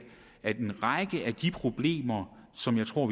at løse en række af de problemer som jeg tror